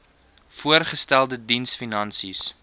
voorgestelde diens finansies